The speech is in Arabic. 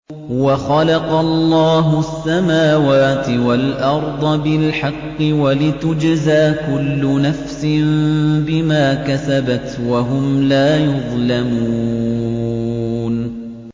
وَخَلَقَ اللَّهُ السَّمَاوَاتِ وَالْأَرْضَ بِالْحَقِّ وَلِتُجْزَىٰ كُلُّ نَفْسٍ بِمَا كَسَبَتْ وَهُمْ لَا يُظْلَمُونَ